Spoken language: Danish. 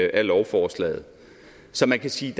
af lovforslaget så man kan sige